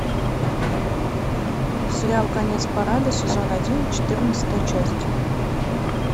сериал конец парада сезон один четырнадцатая часть